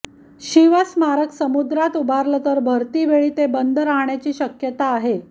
शिवस्मारक समुद्रात उभारलं तर भरतीवेळी ते बंद राहण्याची शक्यता आहे